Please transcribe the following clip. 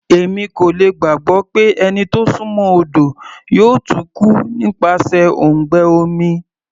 Èmi kò lè gbàgbọ́ pé ẹni tó súnmọ́ odo yóò tún kú nípasẹ̀ òǹgbẹ omi.